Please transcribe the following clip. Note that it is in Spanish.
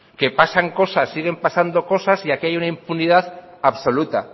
que pasan cosas siguen pasando cosas y aquí hay una impunidad absoluta